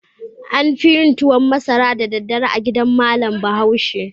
An fi yin tuwan masara da daddare a gidan malam Bahaushe.